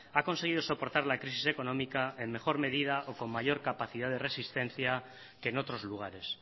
ha conseguido soportar la crisis económica en mejor medida o con mayor capacidad de resistencia que en otros lugares